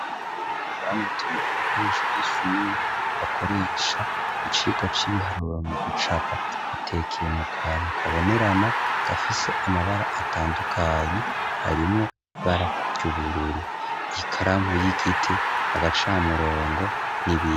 Mbuyi bamutumije ibikoresho by'ishyumiwe akoresha mu cika c'ibiharure mu gucapa bitekeye mu kantu kabonerana gafise amabara atandukanyi harimo barabyubururu ikaramu y'igiti agacamurongo n'ibindi.